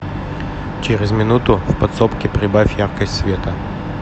через минуту в подсобке прибавь яркость света